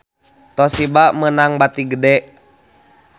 Toshiba meunang bati gede